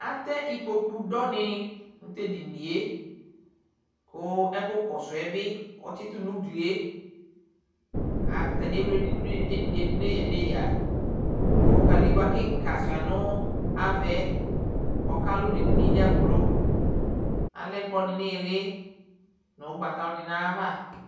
Atɛ ikpoku dɔ ni nu t'edinie ku ɛku kɔsu'ɛ bi ɔtsi tu n'uglie Atani ewle dinie du neyǝ neyǝ ku kadigbǝ kika ʃua nu av'ɛ kɔka lʊ n'edinie dza gblo Alɛ'kplɔ di n'ili n'ugbata di n'ava